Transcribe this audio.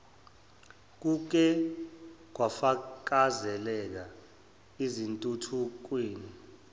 kuke kwafakazeleka ezintuthukweni